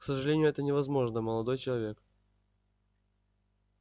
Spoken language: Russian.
к сожалению это невозможно молодой человек